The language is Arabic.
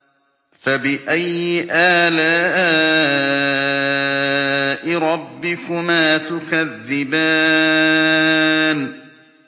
فَبِأَيِّ آلَاءِ رَبِّكُمَا تُكَذِّبَانِ